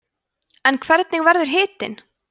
en hvernig verður hitinn